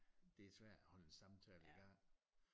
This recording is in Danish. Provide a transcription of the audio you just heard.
Det er svært at holde en samtale igang